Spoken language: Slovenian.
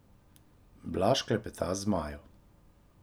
Blaž klepeta z Majo.